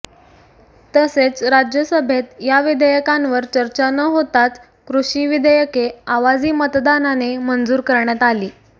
तसेच राज्यसभेत या विधेयकांवर चर्चा न होताच कृषी विधेयके आवाजी मतदानाने मंजूर करण्यात आली